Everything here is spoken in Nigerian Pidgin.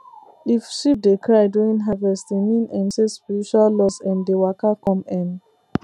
if sheep dey cry during harvest e mean um say spiritual loss um dey waka come um